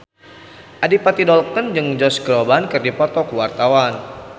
Adipati Dolken jeung Josh Groban keur dipoto ku wartawan